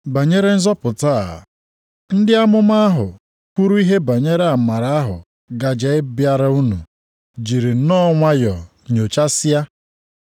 Banyere nzọpụta a, ndị amụma ahụ kwuru ihe banyere amara ahụ gaje ịbịara unu jiri nnọọ nwayọọ nyochasịa